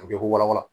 A bɛ ko warawa